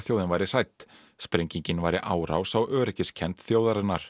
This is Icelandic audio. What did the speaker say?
þjóðin væri hrædd sprengingin væri árás á öryggiskennd þjóðarinnar